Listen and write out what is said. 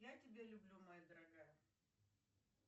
я тебя люблю моя дорогая